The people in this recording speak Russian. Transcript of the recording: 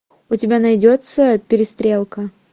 у тебя найдется перестрелка